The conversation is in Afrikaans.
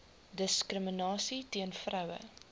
diskriminasie teen vroue